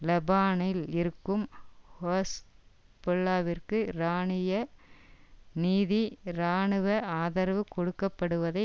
லெபனானில் இருக்கும் ஹெஸ்போல்லாவிற்கு ஈரானிய நிதி இராணுவ ஆதரவு கொடுக்க படுவதை